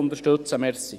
Unterstützen Sie das!